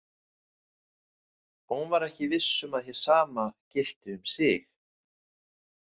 Hún var ekki viss um að hið sama gilti um sig.